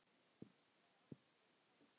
Með aðstoð hverra?